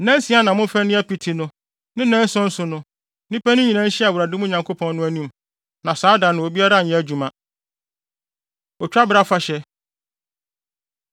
Nnansia na momfa nni apiti, na ne nnanson so no, nnipa no nyinaa nhyia wɔ Awurade, mo Nyankopɔn no, anim. Na saa da no, obiara nyɛ adwuma. Otwabere Afahyɛ